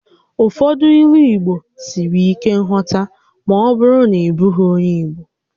Ụfọdụ Ílú Igbo siri ike nghọta ma ọ bụrụ na ị bụghị onyé Igbo